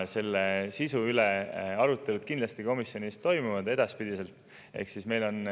Selle sisu üle toimuvad komisjonis kindlasti arutelud ka edaspidi.